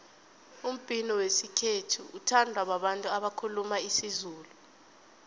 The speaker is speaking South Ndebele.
umbhino wesikhethu uthandwa babantu abakhuluma isizulu